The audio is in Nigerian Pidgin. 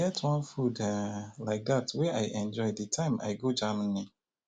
e get one food um like dat wey i enjoy the time i go germany